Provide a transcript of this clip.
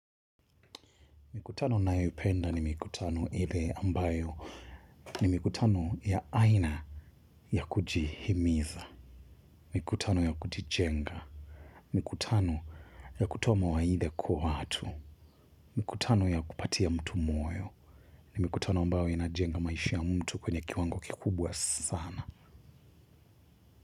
Mikutano ninayoipenda ni mikutano ile ambayo. Ni mikutano ya aina ya kujihimiza. Mikutano ya kujijenga. Mikutano ya kutoa mawaitha kwa watu. Mikutano ya kupatia mtu moyo. Ni mikutano ambayo inajenga maisha mtu kwenye kiwango kikubwa sana.